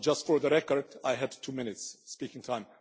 Just for the record, I had two minutes of speaking time.